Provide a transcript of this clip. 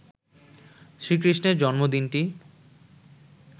শ্রীকৃষ্ণের জন্মদিনটি